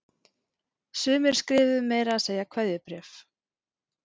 Sumir skrifuðu meira að segja kveðjubréf